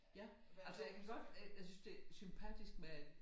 Ja altså jeg kan godt øh jeg synes det sympatisk med